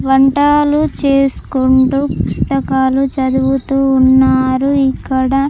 వంటాలు చేసుకుంటూ పుస్తకాలు చదువుతూ ఉన్నారు ఇక్కడ.